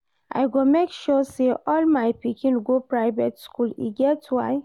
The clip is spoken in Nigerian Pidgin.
I go make sure say all my pikin go private school, e get why